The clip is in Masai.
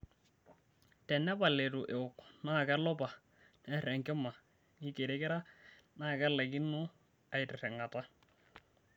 Tenepal eitu ewok naa kelopa, nner enkima, neikirikira naa nelaikino aitirring'ata.